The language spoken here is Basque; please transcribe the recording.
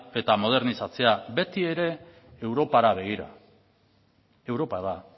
eta modernizatzea beti ere europara begira europa da